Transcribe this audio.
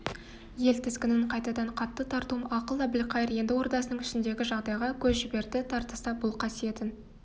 ел тізгінін қайтадан қатты тартуым ақыл әбілқайыр енді ордасының ішіндегі жағдайға көз жіберді тартыста бұл қасиетін